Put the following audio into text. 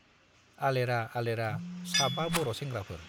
आलेरा आलेरा साबा बर' सेंग्राफोर